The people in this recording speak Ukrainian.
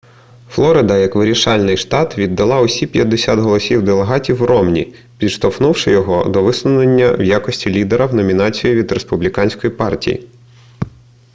флорида як вирішальний штат віддала усі п'ятдесят голосів делегатів ромні підштовхнувши його до висунення в якості лідера в номінацію від республіканської партії